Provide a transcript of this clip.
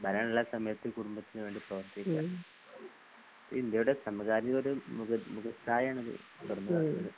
ഭരണില്ലാത്ത സമയത്ത് കുടുംബത്തിന് വേണ്ടി പ്രവർത്തിക്ക .ഇത് ഇന്ത്യയെടെ സമകാലികൊരു മുഖ് മുഖ് അഭിപ്രായമാണിത് .